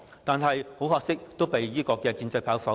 但很可惜，有關議案均被建制派否決。